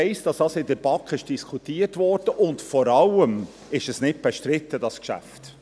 Ich weiss, dass dies in der BaK durchdiskutiert wurde, und wir alle wissen, dass dieses Geschäft nicht bestritten ist.